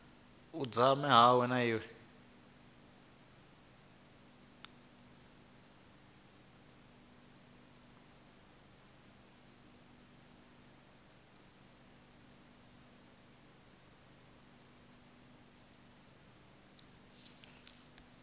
u dzama hawe ha vuwa